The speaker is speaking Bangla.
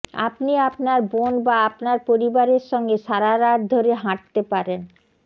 আপনি আপনার বোন বা আপনার পরিবারের সঙ্গে সারা রাত ধরে হাঁটতে পারেন